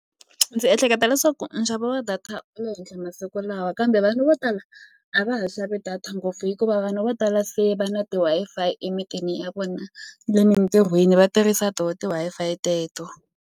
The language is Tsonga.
Ndzi ehleketa leswaku nxavo wa data wu le henhla masiku lawa kambe vanhu vo tala a va ha xavi data ngopfu hikuva vanhu vo tala se va na ti-Wi-Fi emitini ya vona ni le mitirhweni va tirhisa to ti-Wi-Fi teto.